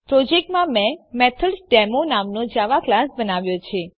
પ્રોજેક્ટમાં મેં મેથોડેમો નામનો જાવા ક્લાસ બનાવ્યો છે